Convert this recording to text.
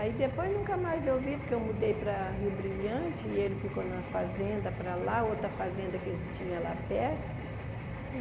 Aí depois nunca mais eu vi, porque eu mudei para Rio Brilhante e ele ficou na fazenda para lá, outra fazenda que eles tinham lá perto.